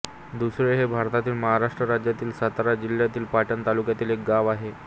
दुसळे हे भारतातील महाराष्ट्र राज्यातील सातारा जिल्ह्यातील पाटण तालुक्यातील एक गाव आहे